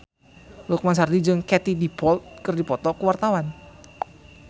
Lukman Sardi jeung Katie Dippold keur dipoto ku wartawan